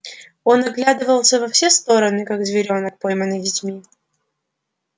он оглядывался на все стороны как зверок пойманный детьми